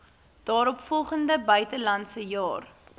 daaropvolgende buitelandse jaar